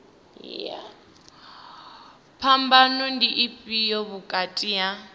phambano ndi ifhio vhukati ha